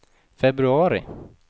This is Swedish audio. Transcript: februari